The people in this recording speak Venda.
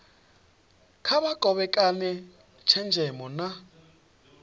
kha vha kovhekane tshenzhemo na